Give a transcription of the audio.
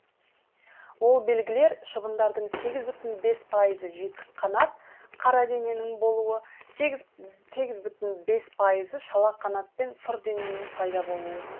ол белгілер шыбындардың сегіз бүтін бес пайызы жетік қанат қара дененің болуы сегіз бүтін бес пайызы шала қанат пен сұр дененің пайда болуы